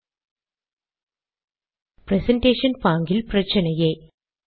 presentation பாங்கில் பிரச்சினையே